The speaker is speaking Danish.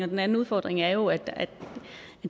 den anden udfordring er jo at